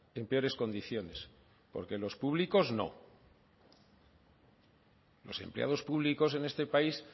en peores condiciones porque los públicos no los empleados públicos en este país